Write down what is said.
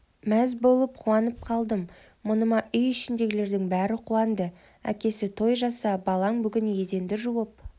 мәз болып қуанып қалдым мұныма үй ішіндегілердің бәрі қуанды әкесі той жаса балаң бүгін еденді жуып